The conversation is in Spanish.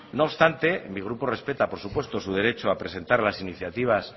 no obstante mi grupo respeta por supuesto su derecho a presentar las iniciativas